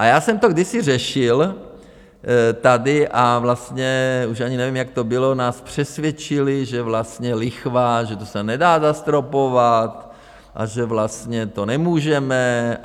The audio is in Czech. A já jsem to kdysi řešil tady a vlastně už ani nevím, jak to bylo, nás přesvědčili, že vlastně lichva, že to se nedá zastropovat a že vlastně to nemůžeme.